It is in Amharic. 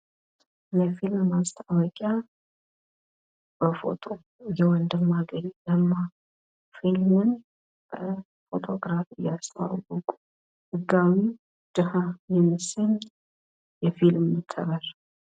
የፊልም ማስታወቂያ በፎቶ የወንድማገኝ ለማ ፊልሙን በፎቶ ግራፍ እያስተዋወቁ ህጋዊ ደሃ የምስል የፊልም ከቨር።